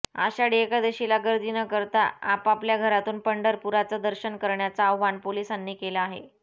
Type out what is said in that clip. आषाढी एकादशीला गर्दी न करता आपापल्या घरातून पंढरपुराचं दर्शन करण्याचं आवाहन पोलिसांनी केलं आहे